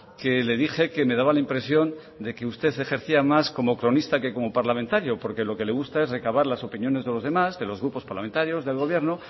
que le dije que me daba la impresión de que usted ejercía más como cronista que como parlamentario porque lo que le gusta es recabar las opiniones de los demás de los grupos parlamentarios del gobierno